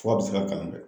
Fura bɛ se ka kalan dɛ